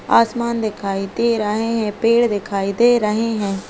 आसमान दिखाई दे रहे है पेड़ दिखाई दे रहे है।